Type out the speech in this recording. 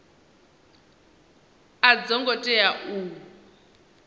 a dzo ngo tea u